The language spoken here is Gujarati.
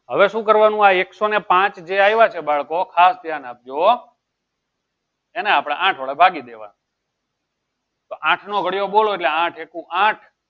હવે શું કરવાનું આ એકસો પાંચ જે આવ્યા છે બાળકો ખાસ ધ્યાન આપજો એને આપણે આઠ વડે ભાગી દેવા તો આઠ નો ઘડિયો બોલો આઠ એકુ આઠ